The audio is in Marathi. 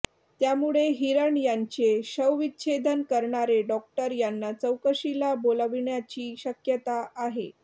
त्यामुळे हिरन यांचे शवविच्छेदन करणारे डॉक्टर यांना चौकशीला बोलाविण्याची शक्यता आहे